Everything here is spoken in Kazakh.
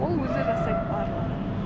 ол өзі жасайды барлығын